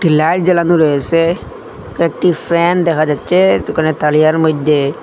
Light জালানো রয়েসে কয়েকটি ফ্যান দেখা যাচ্ছে দুকানের তারিয়ার মইধ্যে।